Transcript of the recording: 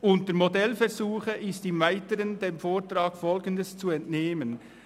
Unter «Modellversuche» ist dem Vortrag im Weiteren Folgendes zu entnehmen: